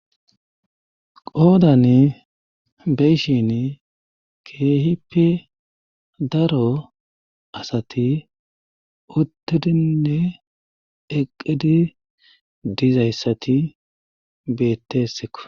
Qoodan beyshin keehippe daro asati uttidinne eqqidi dizayssati bettesekko.